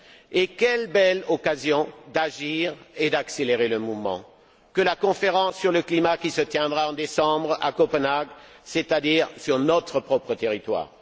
Et quelle belle occasion d'agir et d'accélérer le mouvement que la conférence sur le climat qui se tiendra en décembre à Copenhague, c'est à dire sur notre propre territoire!